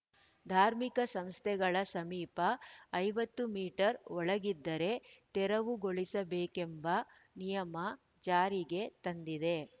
ಧಾರ್ಮಿಕ ಸಂಸ್ಥೆಗಳ ಸಮೀಪ ಐವತ್ತು ಮೀಟರ್‌ ಒಳಗಿದ್ದರೆ ತೆರವುಗೊಳಿಸಬೇಕೆಂಬ ನಿಯಮ ಜಾರಿಗೆ ತಂದಿದೆ